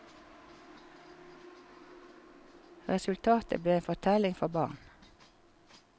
Resultatet ble en fortelling for barn.